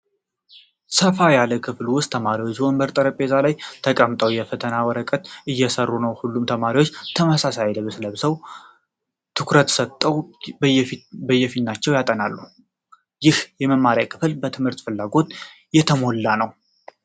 ሰፋ ያለ ክፍል ውስጥ ተማሪዎች ወንበርና ጠረጴዛ ላይ ተቀምጠው የፈተና ወረቀትን እየሰሩ ነው። ሁሉም ተማሪዎች ተመሳሳይ ልብስ ለበሱ ፣ ትኩረት ሰጥተው በየፊናቸው ያጠኑታል። ይህ የመማሪያ ክፍል በትምህርት ፍላጎት የተሞላ ነው።